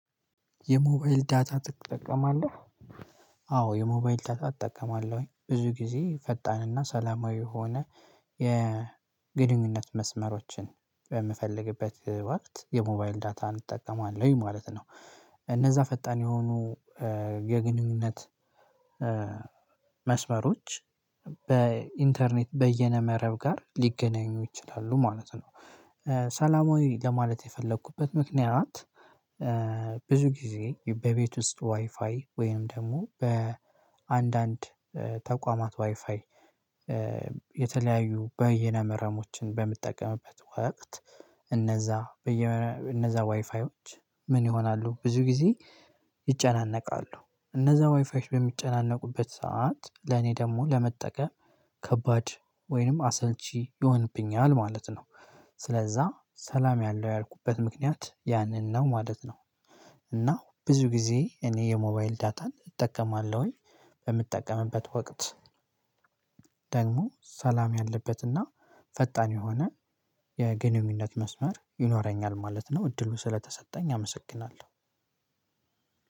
የሞባይል ዳታ እጠቀማለሁ። አዎ የሞባይል ዳታ እጠቀማለሁ ብዙ ጊዜ ፈጣንና ሰላማዊ የሆነ የግንኙነት መስመሮችን በምፈልግበት ወቅት የሞባይል ዳታ እንጠቀማለን ማለት ነው። እነዛ ፈጣን የሆኑ የግንኙነት መስመሮች በኢንተርኔት በየነ መረብ ጋር ሊገናኙ ይችላሉ ማለት ነው። ሰላማዊ ለማለት የፈለኩበት ምክንያት ብዙ ጊዜ በቤት ውስጥ ዋይፋይ ወይም ደግሞ በአንዳንድ ተቋማት ዋይፋይ የተለያዩ በየነመረሞችን በምጠቀምበት ወቅት እነዛ በየነዛ ዋይፋዎች ምን ይሆናሉ ብዙ ጊዜ ይጨናነቃሉ እነዛ ዋይፋዎች በሚጨናነቁበት ሰዓት ለኔ ደግሞ ለመጠቀም ከባድ ወይንም አሰልቺ ይሆንብኛል ማለት ነው። ስለዛ ሰላም ያለው ያልኩበት ምክንያት ያንን ነው ማለት ነው። እና ብዙ ጊዜ እኔ የሞባይል ዳታን እጠቀማለሁኝ በምጠቀምበት ወቅት ደግሞ ሰላም ያለበትና ፈጣን የሆነ የግንኙነት መስመር ይኖረኛል ማለት ነው። እድሉ ስለተሰጠኝ አመሰግናለሁ።